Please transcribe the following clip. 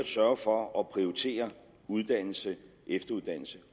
sørge for at prioritere uddannelse efteruddannelse